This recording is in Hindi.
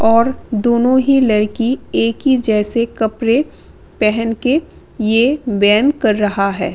और दोनों ही लड़की एक ही जैसे कपड़े पहन के ये बैम कर रहा है।